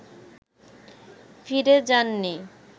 ফিরে যাননি